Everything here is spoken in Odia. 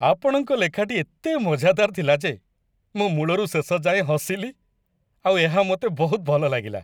ଆପଣଙ୍କ ଲେଖାଟି ଏତେ ମଜାଦାର ଥିଲା ଯେ ମୁଁ ମୂଳରୁ ଶେଷ ଯାଏଁ ହସିଲି ଆଉ ଏହା ମୋତେ ବହୁତ ଭଲ ଲାଗିଲା।